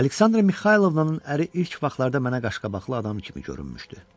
Aleksandra Mixaylovnanın əri ilk vaxtlarda mənə qaşqabaqlı adam kimi görünmüşdü.